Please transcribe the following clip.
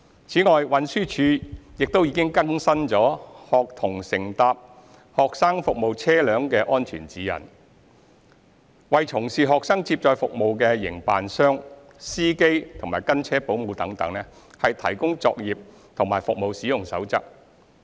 此外，運輸署亦已更新《學童乘搭"學生服務車輛"的安全指引》，為從事學生接載服務的營辦商、司機及跟車保姆等，提供作業和服務使用守則。